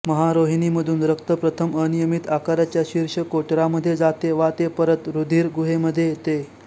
महारोहिणीमधून रक्त प्रथम अनियमित आकाराच्या शीर्ष कोटरामध्ये जाते वा ते परत रुधिर गुहेमध्ये येते